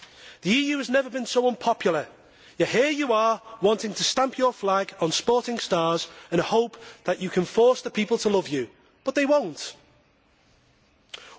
The EU has never been so unpopular, yet here you are, wanting to stamp your flag on sporting stars in the hope that you can force the people to love you. But they will not.